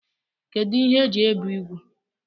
Kedu ihe eji ebe úgwù?